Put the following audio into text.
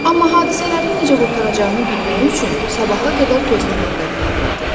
Amma hadisələrin necə qurtaracağını bilmək üçün sabaha qədər gözləmək qərarı verdi.